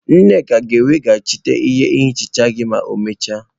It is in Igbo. Nneka ga-eweghachite ihe nhicha gị ma ọ mechaa.